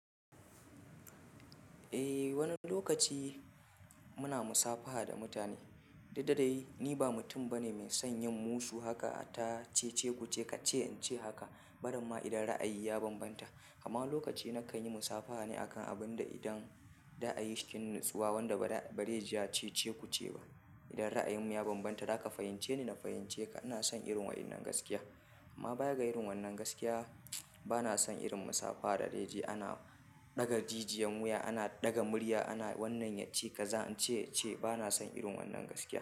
Eh wani lokaci muna musafaha da mutane. Dadda dai ni ba mutum bane mai son yin musu haka ata cece kuce kace in ce haka. Barimma idan ra'ayi ya bambanta. Kama lokaci na kan yi musafaha ne akan abin da idan da a yi shinnsuwa wanda ba dai ji ya cece kuce ba. Idan ra'ayin mu ya bambanta zaka fahimce ni, na fahimce ka. Ina son irin wannan gaskiya. Amma baya ga irin wannan gaskiya, bana son irin musafaha da dai ji ana ɗaga jijiyan wuya, ana ɗaga murya, ana wannan yace kaza, ce ba na son irin wannan gaskiya.